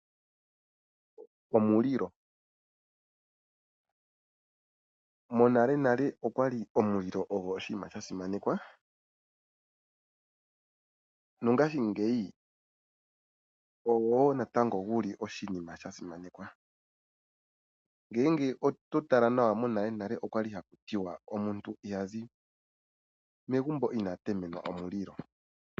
Omulilo, monalenale okwali omulilo ogo oshiima sha simanekwa, mongaashingeyi oguli woo natango oshiima sha simanekwa. Ngele oto tala nawa monalenale okwali ahku ti wa omuntu ohazi megumbo inaa temenwa omulilo.